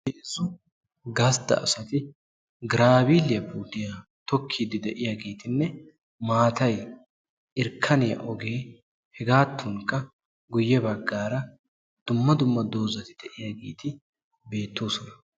heezzu Gastta asatti graviliyaa puutiya tokkidde de'iyagettinne maattayi irkkaniya ogee hegadankka dumma dumma doozzatti de'iyaageeti beetosonna.